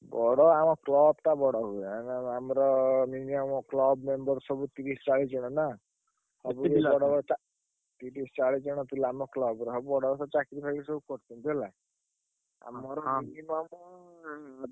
ବଡ ଆମ club ଟା ବଡ ହୁଏ। ଆମର minimum club member ସବୁ ତିରିଶି ଚାଳିଶି ଜଣ ନା। ତିରିଶି ଚାଳିଶି ଜଣ ପିଲା ଆମ club ର ହଁ ବଡ ତ ଚାକିରି ଫାକିରି କରି ଛନ୍ତି ହେଲା। ଆମର minimum ।